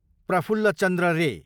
प्रफुल्ल चन्द्र रे